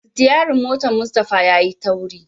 sityarin motan Mustapha yayi tauri.